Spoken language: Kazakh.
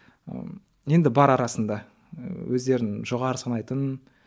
ы енді бар арасында ыыы өздерін жоғары санайтын